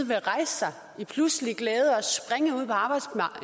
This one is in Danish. vil rejse sig i pludselig glæde